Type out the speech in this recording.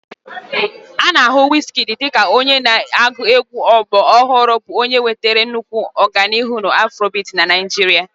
A na-ahụ Wizkid dị ka onye na-agụ egwú ọgbọ ọhụrụ bụ onye wetara nnukwu ọganihu na Afrobiti na Naijiria.